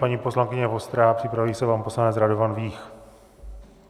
Paní poslankyně Vostrá, připraví se pan poslanec Radovan Vích.